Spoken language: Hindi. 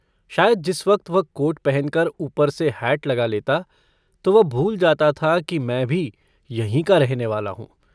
शायद जिस वक्त वह कोट पहन कर ऊपर से हैट लगा लेता तो वह भूल जाता था कि मैं भी यहीं का रहने वाला हूँ।